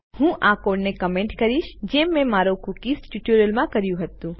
હું આ કોડને કમેન્ટ કરીશ જેમ મેં મારા કૂકીઝ ટ્યુટોરીયલમાં કર્યું હતું